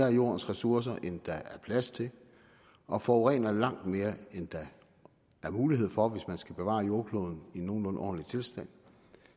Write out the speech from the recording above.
af jordens ressourcer end der er plads til og forurener langt mere end der er mulighed for hvis man skal bevare jordkloden i en nogenlunde ordentlig tilstand